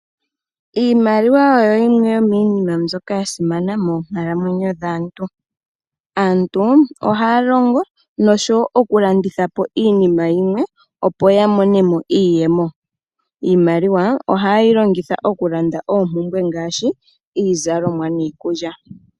Iimaliwa oyo yimwe yomiinima mbyoka ya simana moonkalamwenyo dhaantu aantu ohaa longo noshowo okulanditha po iinima yi mwe opo ya mone mo iiyemo .Iimaliwa ohaye yi longitha okulanda oompumbwe ngaashi iizalomwa niikulya.